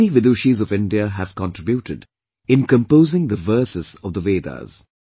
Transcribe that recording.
Many Vidushis of India have contributed in composing the verses of the Vedas